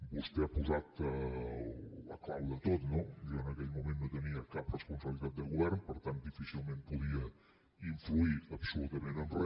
vostè ha posat la clau de tot no jo en aquell moment no tenia cap responsabilitat de govern per tant difícilment podia influir absolutament en re